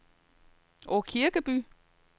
Aakirkeby